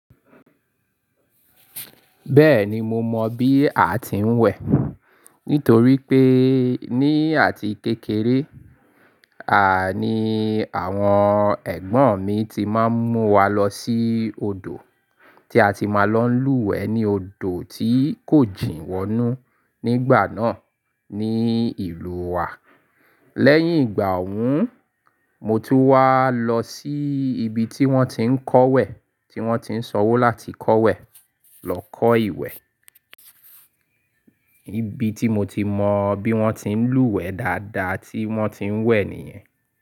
Bẹ́ẹ̀ni, mo mọ bí a ti ń wẹ̀. Nítorí pé ní àti kékeré, à ní àwọn ẹ̀gbọ́n mi ti máa ń mú wa lọ sí odò, tí a ti máa ń lọ lúwẹ̀ẹ́ ní odò tí kò jìn wọnú nígbà náà ní ìlú wa. Lẹ́yìn ìgbà ọ̀hún, mo tún wá lọ sí ibi tí wọ́n ti ń kọ̀wẹ̀, tí wọ́n ti ń sanwó láti kọ̀wẹ̀ lọ kọ́ ìwẹ̀. Ibi tí mo ti mọ bí wọ́n ti ń lúwẹ̀ẹ́ dáadáa tí wọ́n ti ń wẹ̀ nìyẹn.